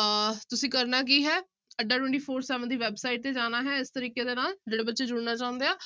ਅਹ ਤੁਸੀ ਕਰਨਾ ਕੀ ਹੈ ਅੱਡਾ twenty four seven ਦੀ website ਤੇ ਜਾਣਾ ਹੈ ਇਸ ਤਰੀਕੇ ਦੇ ਨਾਲ ਜਿਹੜੇ ਬੱਚੇ ਜੁੜਨਾ ਚਾਹੁੰਦੇ ਆ,